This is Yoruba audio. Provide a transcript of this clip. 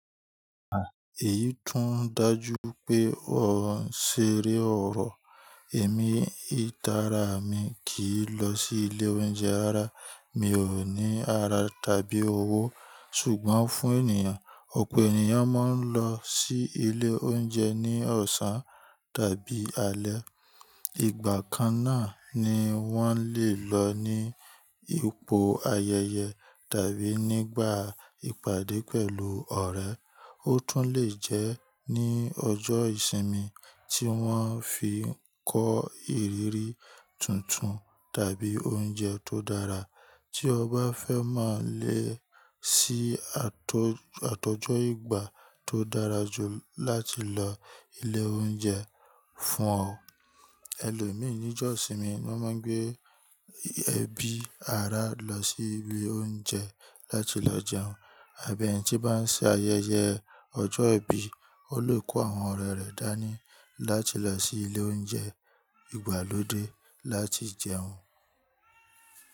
À, èyí tún dájú pé o ń ṣeré ọ̀rọ̀. Èmi, ìtara mi kì í lọ sí ilé oúnjẹ rara. Mi ò ní ara tàbí owó. Sùgbọ́n fún ènìyàn, ọ̀pọ̀ ènìyàn máa ń lọ sí ilé oúnjẹ ní ọ̀sán tàbí alẹ́. Ìgbà kan náà ni wọ́n le lọ ní ipò ayẹyẹ tàbí nígbà ìpàdé pẹ̀lú ọ̀rẹ́. Ó tún lè jẹ́ ní ọjọ́ ìsinmi tí wọ́n fi ń kọ ìrírí tuntun tàbí oúnjẹ tó dára. Tí o bá fẹ́ máa le ṣìí àtọjọ́ ìgbà tó dára jù láti lọ ilé oúnjẹ fún ọ. Ẹlòmíì ní jọ̀ iṣinmi, wọ́n máa ń gbé ẹbí ara lọ sí ibi oúnjẹ láti lọ jẹun. Àbí ẹni tí bá ń ṣe ayẹyẹ ọjọ́ ìbí, o lè kó àwọn ọ̀rẹ́ rẹ̀ dání láti lọ sí ilé oúnjẹ ìgbàlódé láti jẹun.